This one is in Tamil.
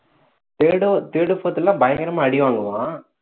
third third fourth எல்லாம் பயங்கரமா அடி வாங்குவான்